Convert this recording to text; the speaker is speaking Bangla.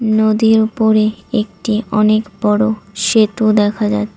নদীর উপরে একটি অনেক বড় সেতু দেখা যাট--